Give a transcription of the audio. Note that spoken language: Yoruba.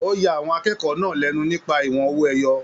O ya àwọn akẹ́kọ̀ọ́ náà lẹnu nípa ìwọ̀n owó ẹyọ.